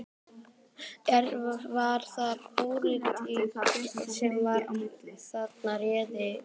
Er, var það pólitík sem að þarna réði ríkjum?